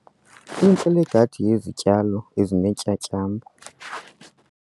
Intle le gadi yezityalo ezineentyatyambo.